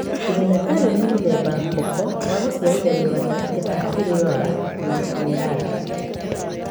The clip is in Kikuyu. Trinatario nĩ mũthemba koko wagũciarithanio gatagatĩ ga Kiriolo na Amelando.